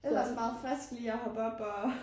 Ellers meget friskt lige og hoppe op og